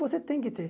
Você tem que ter.